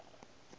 le matšato ge e sa